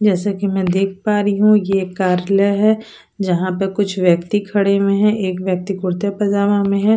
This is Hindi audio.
जैसे कि मैं देख पा रही हूं ये एक कार्यालय है जहां पे कुछ व्यक्ति खड़े हुए हैं एक व्यक्ति कुर्ते पजामा में है।